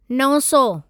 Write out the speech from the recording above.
नव सौ